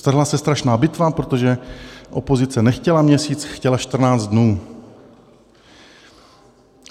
Strhla se strašná bitva, protože opozice nechtěla měsíc, chtěla 14 dnů.